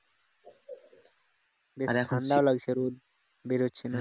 ঠান্ডাও লাগছে রোদ বেরোচ্ছে না।